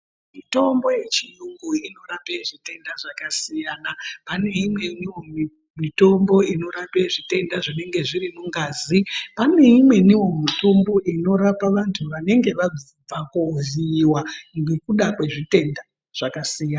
Mitombo yechiyungu inorape zvitenda zvakasiyana. Pane imweniwo mitombo inorape zvitenda zvinenge zviri mungazi. Pane imweniwo mitombo inorapa vantu vanenge vabva koovhiyiwa ngekuda kwezvitenda zvakasiyana.